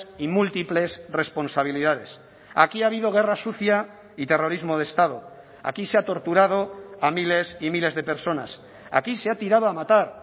y múltiples responsabilidades aquí ha habido guerra sucia y terrorismo de estado aquí se ha torturado a miles y miles de personas aquí se ha tirado a matar